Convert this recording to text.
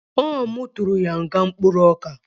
Ọ mu tụrụ ya nga mkpụrụoka